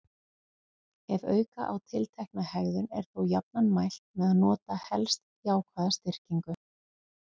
Ef auka á tiltekna hegðun er þó jafnan mælt með að nota helst jákvæða styrkingu.